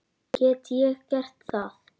Get ég gert það?